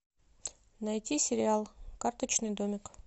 найти сериал карточный домик